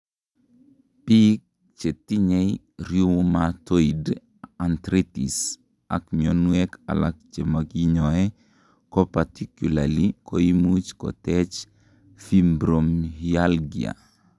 biik chetinyei rheumatoid arthritis ak mionwek alak chemokinyoe koparticularly koimuch kotech fibromyalgia